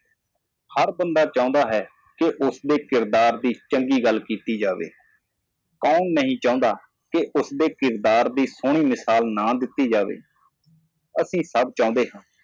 ਹਰ ਆਦਮੀ ਚਾਹੁੰਦਾ ਹੈ ਉਸ ਦੇ ਚਰਿੱਤਰ ਬਾਰੇ ਚੰਗੀ ਤਰ੍ਹਾਂ ਬੋਲਣ ਲਈ ਜੋ ਆਪਣਾ ਕਿਰਦਾਰ ਨਹੀਂ ਚਾਹੁੰਦਾ ਇੱਕ ਚੰਗੀ ਮਿਸਾਲ ਕਾਇਮ ਨਾ ਕਰੋ ਅਸੀਂ ਸਾਰੇ ਚਾਹੁੰਦੇ ਹਾਂ